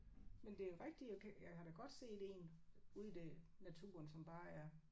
Men det er jo rigtigt jeg kan jeg har da godt set en ude i det naturen som bare er